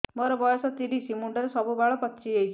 ମୋର ବୟସ ତିରିଶ ମୁଣ୍ଡରେ ସବୁ ବାଳ ପାଚିଯାଇଛି